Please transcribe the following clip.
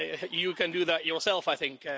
You can do that yourself, I think.